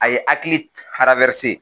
A ye hakili